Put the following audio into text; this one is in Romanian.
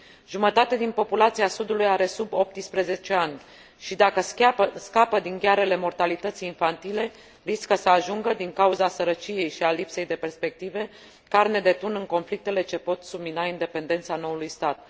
Jumătate din populația sudului are sub 18 ani și, dacă scapă din ghearele mortalității infantile, riscă să ajungă, din cauza sărăciei și a lipsei de perspective, carne de tun în conflictele ce pot submina independența noului stat.